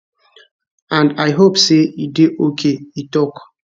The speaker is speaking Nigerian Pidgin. and i hope say e dey ok e tok